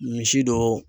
Misi dɔ